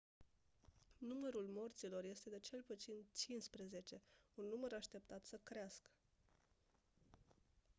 numărul morților este de cel puțin 15 un număr așteaptat să crească